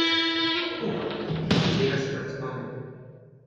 Uh, tega se pa ne spomnim.